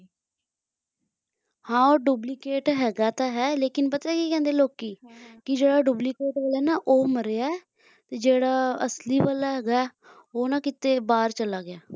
ਹਾਂ ਉਹ duplicate ਹੈਗਾ ਤਾਂ ਹੈ ਪਤਾ ਕੀ ਕਹਿੰਦੇ ਲੋਕੀਹਾਂ ਕਿ ਜਿਹੜਾ duplicate ਵਾਲਾ ਹੈ ਨਾ ਉਹ ਮਰਿਆ ਤੇ ਜਿਹੜਾ ਅਸਲੀ ਵਾਲਾ ਹੈਗਾ ਉਹ ਨਾ ਕਿਤੇ ਬਾਹਰ ਚਲਾ ਗਿਆ